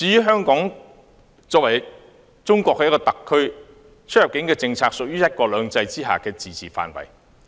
香港作為中國的一個特區，其出入境政策屬於"一國兩制"下的自治範圍。